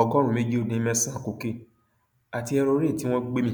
ọgọrùnún méjì ó dín mẹsànán cocaine àti hẹrọọrẹ tí wọn gbé mi